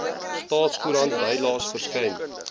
staatskoerant bylaes verskyn